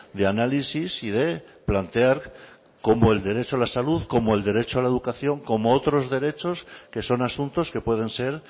de análisis y de plantear como el derecho a la salud como el derecho a la educación como otros derechos que son asuntos que pueden ser